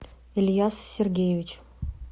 ильяс сергеевич